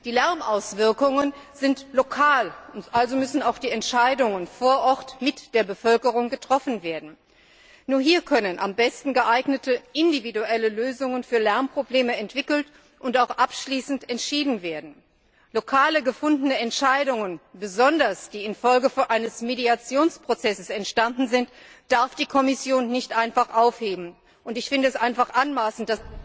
Die Lärmauswirkungen sind lokal, also müssen auch die Entscheidungen vor Ort mit der Bevölkerung getroffen werden. Nur hier können am besten geeignete individuelle Lösungen für Lärmprobleme entwickelt und auch abschließend entschieden werden. Lokal gefundene Entscheidungen, besonders solche, die infolge eines Mediationsprozesses entstanden sind, darf die Kommission nicht einfach aufheben, und ich finde es einfach anmaßend...